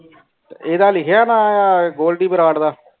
ਤੇ ਐਡਾ ਲਿਖਿਆ ਨਾ ਗੋਲਡੀ ਬਰਾੜ ਦਾ